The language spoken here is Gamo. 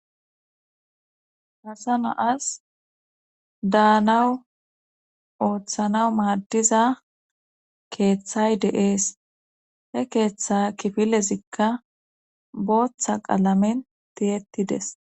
Hasana'as daanawu ooththanaw maaddiza keeththay deees he keeththa kifilezikka booththa qalamen tiyettides.